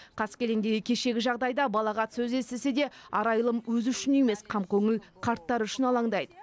қаскелеңдегі кешегі жағдайда балағат сөз естісе де арайлым өзі үшін емес қамкөңіл қарттар үшін алаңдайды